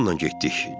Biz onunla getdik.